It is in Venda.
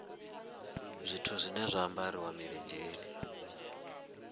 zwithu zwine zwa ambariwa milenzheni